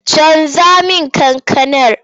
Canja min wannan kankanar!